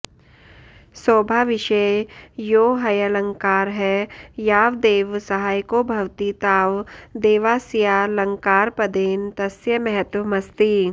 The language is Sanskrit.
शोभाविषये यो ह्यलङ्कारः यावदेव सहायको भवति तावदेवास्यालङ्कारपदेन तस्य महत्त्वमस्ति